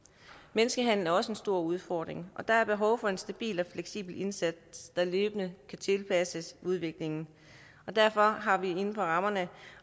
menneskehandel er også en stor udfordring og der er behov for en stabil og fleksibel indsats der løbende kan tilpasses udviklingen derfor har vi inden for rammerne